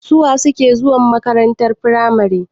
su wa suke zuwa makarantar firamare?